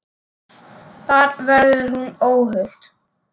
Þar verði hún óhult.